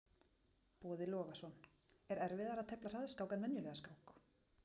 Boði Logason: Er erfiðara að tefla hraðskák en venjulega skák?